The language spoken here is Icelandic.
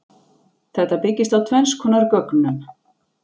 Þetta byggist á tvenns konar gögnum.